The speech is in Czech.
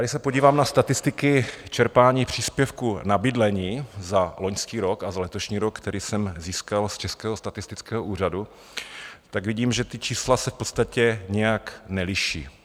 Když se podívám na statistiky čerpání příspěvku na bydlení za loňský rok a za letošní rok, které jsem získal z Českého statistického úřadu, tak vidím, že ta čísla se v podstatě nijak neliší.